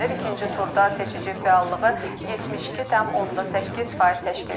İkinci turda seçici fəallığı 72,8% təşkil edib.